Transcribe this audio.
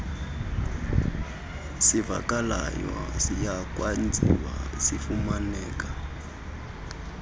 sivakalayo ziyakwenziwa zifumaneke